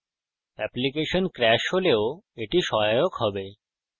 application crash হলেও এটি সহায়ক হবে